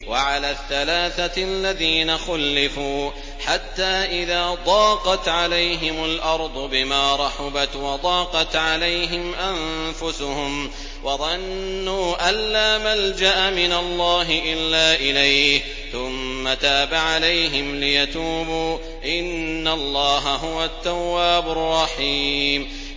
وَعَلَى الثَّلَاثَةِ الَّذِينَ خُلِّفُوا حَتَّىٰ إِذَا ضَاقَتْ عَلَيْهِمُ الْأَرْضُ بِمَا رَحُبَتْ وَضَاقَتْ عَلَيْهِمْ أَنفُسُهُمْ وَظَنُّوا أَن لَّا مَلْجَأَ مِنَ اللَّهِ إِلَّا إِلَيْهِ ثُمَّ تَابَ عَلَيْهِمْ لِيَتُوبُوا ۚ إِنَّ اللَّهَ هُوَ التَّوَّابُ الرَّحِيمُ